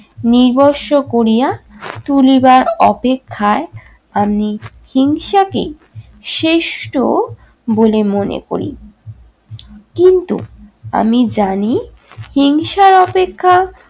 নিবসসো করিয়া তুলিবার অপেক্ষায় আমি হিংসাকেই শ্রেষ্ঠ বলে মনে করি। কিন্তু আমি জানি হিংসার অপেক্ষা